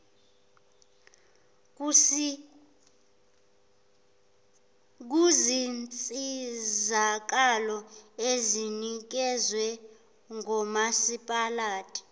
kuzinsizakalo ezinikezwa ngomasipalati